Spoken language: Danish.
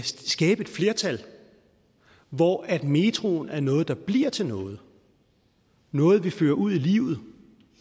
et flertal hvor metroen er noget der bliver til noget noget vi fører ud i livet